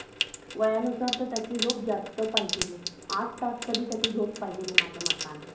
वयानुसार तर त्याची झोप जास्त पाहिजेल आठ तास तरी झोप पाहिजेल माझा मताने